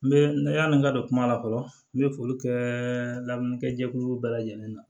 N bɛ yani n ka don kuma la fɔlɔ n bɛ foli kɛ lamɛnjɛkulu bɛɛ lajɛlen na